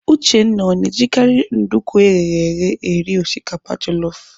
Uchendu ọ na-ejikarị nduku eghere eghe eri osikapa jelọf?